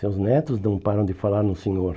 Seus netos não param de falar no senhor.